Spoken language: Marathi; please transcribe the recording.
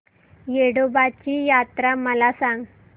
येडोबाची यात्रा मला सांग